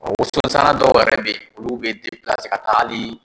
Waso sanna dɔw yɛrɛ bɛ yen, olu bɛ ka taa ali